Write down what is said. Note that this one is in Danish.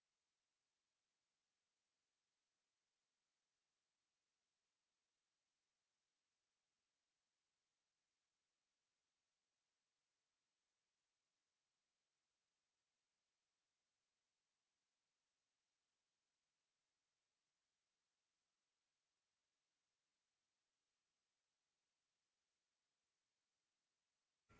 to